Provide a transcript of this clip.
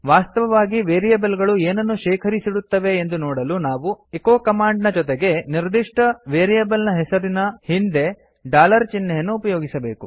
ವಾಸ್ತವವಾಗಿ ವೇರಿಯೇಬಲ್ ಗಳು ಏನನ್ನು ಶೇಖರಿಸಿಡುತ್ತವೆ ಎಂದು ನೋಡಲು ನಾವು ಎಚೊ ಕಮಾಂಡ್ ನ ಜೊತೆಗೆ ನಿರ್ದಿಷ್ಟ ವೇರಿಯೇಬಲ್ ಹೆಸರಿನ ಹಿಂದೆ ಡಾಲರ್ ಚಿಹ್ನೆಯನ್ನು ಉಪಯೋಗಿಸಬೇಕು